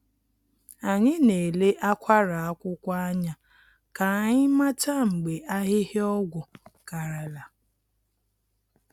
Anyị na-ele akwara akwụkwọ anya ka anyị mata mgbe ahịhịa ọgwụ karala.